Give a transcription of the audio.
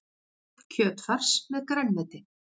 Kjötfars með grænmeti